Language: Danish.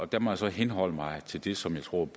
der må jeg så henholde mig til det som jeg tror